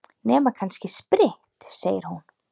Nema kannski spritt, segir hún.